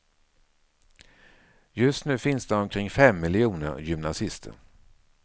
Just nu finns det omkring fem miljoner gymnasister.